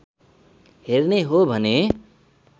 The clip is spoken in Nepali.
हेर्ने हो भने